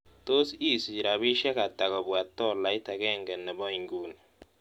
Tos' asiich rabinisiek ata kobwa tolaiit agenge ne po inguni